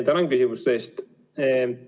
Tänan küsimuste eest!